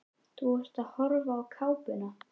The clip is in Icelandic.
Þú ert að horfa á kápuna.